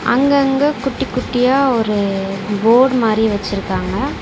அங்கங்க குட்டி குட்டியா ஒரு ஃபோர்டு மாரி வச்சிருக்காங்க.